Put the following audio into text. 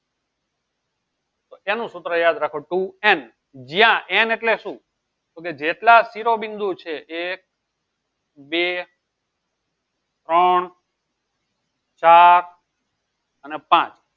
તો એનું સૂત્ર યાદ રાખો two n જ્યાં n એટલે શું? તો કે જેટલા સીરોબિંદુ છે એક બ ત્રણ ચાર અને પાંચ